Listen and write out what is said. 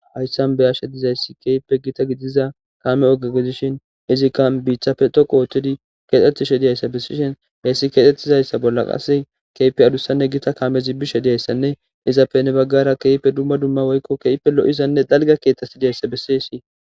hayssan beyashe dizayssi keeippe gita gidiza kaame oga gedishin izikka biichafe toqu oothtodi keexxetishe diyayssa bessishen heyssi keexxetizayssa bolla qase keype adussanne gita kaame zibbi she diyayssanne izappe nebaggara keepe dumma dumma woykko keyppe lo7izanne dalga keetasi diyayssa bessishi